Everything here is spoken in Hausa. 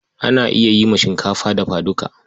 Ana yi ma shinkafa dafa duka.